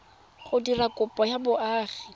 go dira kopo ya boagi